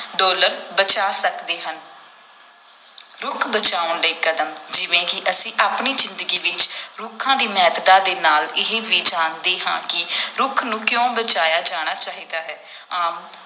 dollar ਬਚਾ ਸਕਦੇ ਹਨ ਰੁੱਖ ਬਚਾਉਣ ਦੇ ਕਦਮ ਜਿਵੇਂ ਕਿ ਅਸੀਂ ਆਪਣੀ ਜ਼ਿੰਦਗੀ ਵਿੱਚ ਰੁੱਖਾਂ ਦੀ ਮਹੱਤਤਾ ਦੇ ਨਾਲ ਇਹ ਵੀ ਜਾਣਦੇ ਹਾਂ ਕਿ ਰੁੱਖ ਨੂੰ ਕਿਉਂ ਬਚਾਇਆ ਜਾਣਾ ਚਾਹੀਦਾ ਹੈ ਆਮ